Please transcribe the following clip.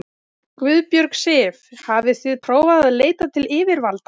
Guðbjörg Sif: Hafið þið prófað að leita til yfirvalda?